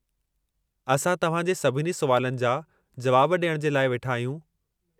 असां तव्हां जे सभिनी सुवालनि जा जुवाब डि॒यणु जे लाइ वेठा आहियूं।